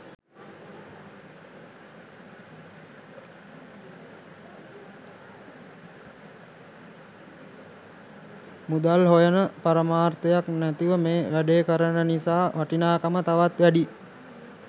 මුදල් හොයන පරමාර්ථයක් නැතිව මේ වැඩේ කරන නිසා වටිනාකම තවත් වැඩියි.